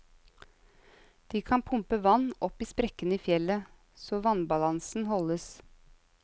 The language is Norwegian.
De kan pumpe vann opp i sprekkene i fjellet, så vannbalansen holdes.